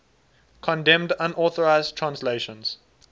condemned unauthorized translations